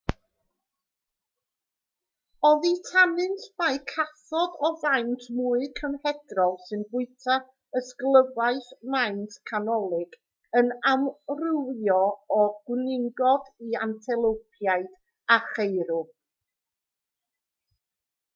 oddi tanynt mae cathod o faint mwy cymhedrol sy'n bwyta ysglyfaeth maint canolig yn amrywio o gwningod i antelopiaid a cheirw